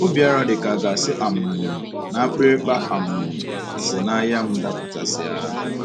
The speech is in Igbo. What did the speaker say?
“ O bịara dị ka a ga-asị um na akpịrịkpa um si n’anya m Dapụtasịa ”